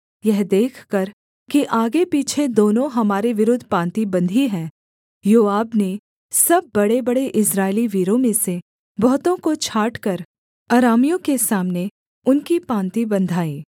यह देखकर कि आगेपीछे दोनों हमारे विरुद्ध पाँति बंधी है योआब ने सब बड़ेबड़े इस्राएली वीरों में से बहुतों को छाँटकर अरामियों के सामने उनकी पाँति बँधाई